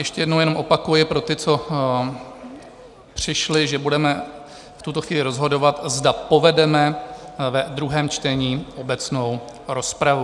Ještě jednou jenom opakuji pro ty, co přišli, že budeme v tuto chvíli rozhodovat, zda povedeme ve druhém čtení obecnou rozpravu.